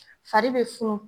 Fari be funu